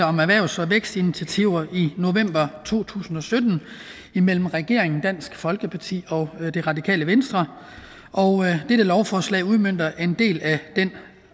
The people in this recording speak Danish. om erhvervs og vækstinitiativer i november to tusind og sytten imellem regeringen dansk folkeparti og det radikale venstre dette lovforslag udmønter en del af den